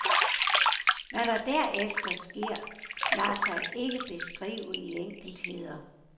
Hvad der derefter sker, lader sig ikke beskrive i enkeltheder.